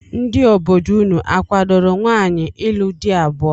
Ndị obodo unu akwadoro nwaanyị ịlụ di abụọ?